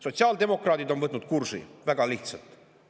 Sotsiaaldemokraadid on võtnud kursi, väga lihtsalt.